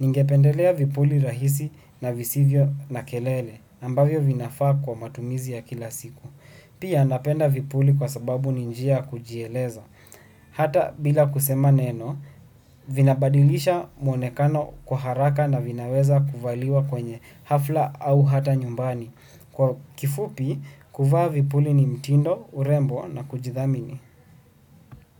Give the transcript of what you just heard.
Ningependelea vipuli rahisi na visivyo na kelele, ambavyo vinafaa kwa matumizi ya kila siku. Pia napenda vipuli kwa sababu ni njia kujieleza. Hata bila kusema neno, vinabadilisha mwonekano kwa haraka na vinaweza kuvaliwa kwenye hafla au hata nyumbani. Kwa kifupi, kuvaa vipuli ni mtindo, urembo na kujithamini.